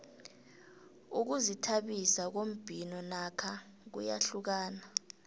ukuzithabisa ngombhino nakho kuyahlukana